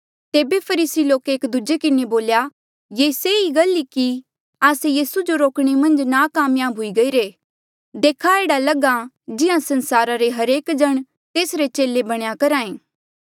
तेबे फरीसी लोके एक दूजे किन्हें बोल्या ये सही गल ई कि आस्से यीसू जो रोकणे मन्झ नाकामयाब हुई गईरे देखा एह्ड़ा लग्हा जिहां संसारा रे हरेक जण तेसरे चेले बणया करहा ऐें